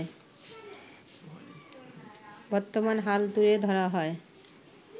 বর্তমান হাল তুলে ধরা হয়